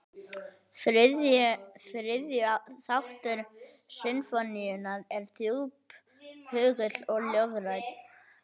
Þriðju þáttur sinfóníunnar er djúphugull og ljóðrænn.